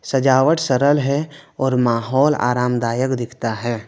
सजावट सरल है और माहौल आरामदायक दिखता है।